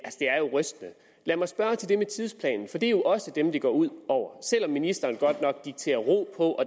rystende lad mig spørge til det med tidsplanen for det jo også dem det går ud over selv om ministeren godt nok dikterer ro på og